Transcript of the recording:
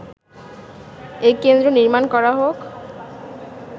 এ কেন্দ্র নির্মাণ করা হোক”